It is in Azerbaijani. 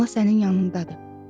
Ana sənin yanındadır.